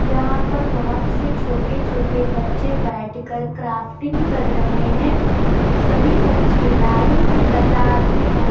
यहाँ पर बोहोत से छोटे-छोटे बच्चे बैठ कर क्राफ्टिंग कर रहे हैं। सभी बच्चे लाइन से क़तार पे बै --